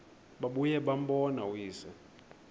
babuye bambone uyise